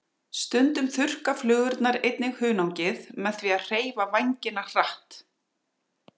Stundum þurrka flugurnar einnig hunangið með því að hreyfa vængina hratt.